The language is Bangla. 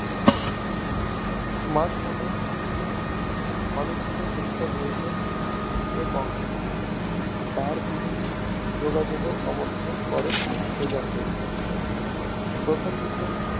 Smartphone এ অনেকগুলো Sensor রয়েছে এবং তার বিহীন যোগাযোগও সমর্থন করে এই যন্ত্রগুলো প্রথমদিকে